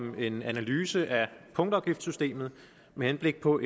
om en analyse af punktafgiftssystemet med henblik på